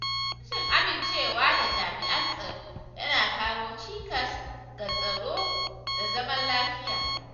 Rashin amincewa da jami'an tsaro yana kawo cikas ga tsaro da zaman lafiya.